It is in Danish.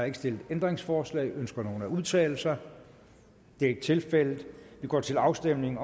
ikke stillet ændringsforslag ønsker nogen at udtale sig det er ikke tilfældet og vi går til afstemning